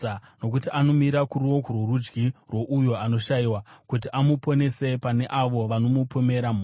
Nokuti anomira kuruoko rworudyi rwouyo anoshayiwa, kuti amuponese pane avo vanomupomera mhosva.